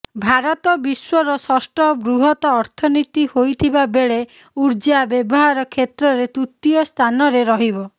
ଭାରତ ବିଶ୍ୱର ଷଷ୍ଠ ବୃହତ୍ ଅର୍ଥନୀତି ହୋଇଥିବା ବେଳେ ଊର୍ଜା ବ୍ୟବହାର କ୍ଷେତ୍ରରେ ତୃତୀୟ ସ୍ଥାନରେ ରହିବ